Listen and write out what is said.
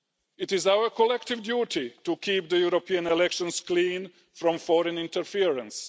It is our collective duty to keep the European elections clean from foreign interference.